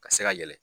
Ka se ka yɛlɛ